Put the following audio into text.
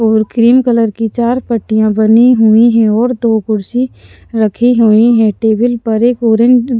और cream colour की चार पट्टियाँ बनी हुई हैं और दो कुर्सी रखी हुई हैं टेबल पर एक ऑरें --